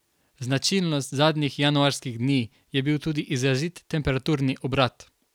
Značilnost zadnjih januarskih dni je bil tudi izrazit temperaturni obrat.